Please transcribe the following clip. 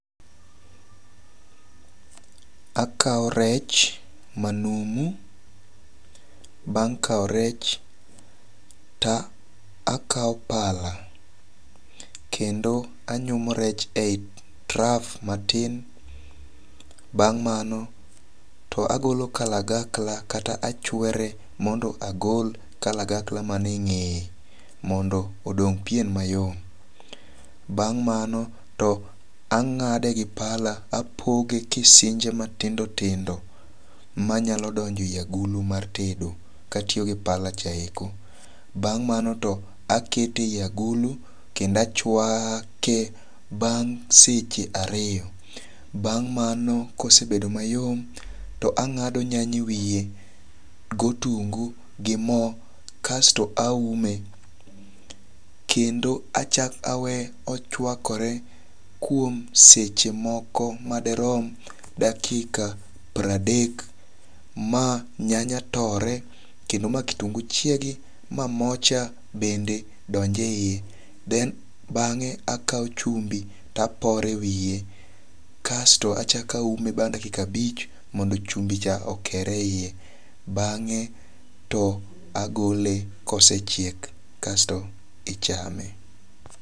Akaw rech manumu. Bang' kaw rech, to akaw pala. Kendo anyumo rech eyi traf matin. Bang' mano, to agolo kalagakla kata achwere mondo agol kalagakla mani e ng'eye mondo odong' pien mayo. Bang' mano, to ang'ade gi pala, apoge kisinje matindo tindo manyalo donjo e yi agulu mar tedo ka atiyo gi pala cha eko. Bang' mano to akete e yi agulu kendo achwake bang' seche ariyo. Bang' mano kosebedo mayom, to ang'ado nyanya e wiye gotungu gi mo kasto aume. Kendo achak aweye ochwakore kuom seche moko maderom dakika pradek ma nyanya tore kendo ma kitungu chiegi ma mo cha bende donje yie. Then bang'e akaw chumbi to apore e wiye. Kasto achak aume bang' dakika abich mondo chumbi cha okere e yie bang'e to agole kosechiek. Kasto ichame.